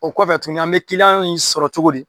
O kɔfɛ tuguni an bɛ kiliyan in sɔrɔ cogo di ?